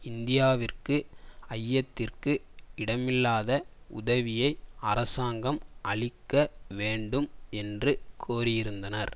இந்தியாவிற்கு ஐயத்திற்கு இடமில்லாத உதவியை அரசாங்கம் அளிக்க வேண்டும் என்று கோரியிருந்தனர்